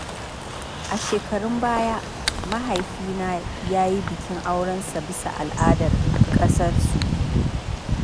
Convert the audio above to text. A shekarun baya, Mahaifina ya yi bikin aurensa bisa al’adar ƙasarsu.